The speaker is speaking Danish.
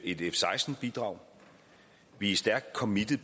et f seksten bidrag vi er stærkt committet